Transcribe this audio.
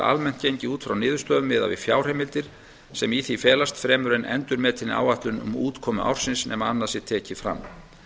almennt gengið út frá niðurstöðum miðað við fjárheimildir sem í því felast fremur en endurmetinni áætlun um útkomu ársins nema annað sé tekið fram